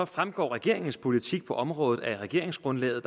fremgår regeringens politik på området af regeringsgrundlaget